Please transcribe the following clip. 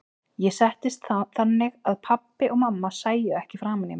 Ég settist þannig að pabbi og mamma sæju ekki framan í mig.